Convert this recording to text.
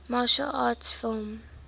martial arts film